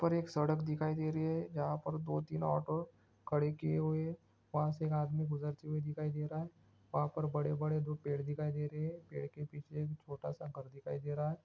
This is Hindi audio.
वहाँ पर एक सड़क दिखाई दे रही हैं जहाँ पर दो - तीन ऑटो खड़े किये हुये वहाँ से एक आदमी गुजरते हुये दिखाई दे रहा हैं वहाँ पर बड़े - बड़े पेड़ दिखाई दे हैं पेड़ के पीछे एक छोटा - सा घर दिखाई दे रहा हैं।